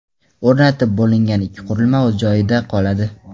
O‘rnatib bo‘lingan ikki qurilma o‘z joyida qoladi.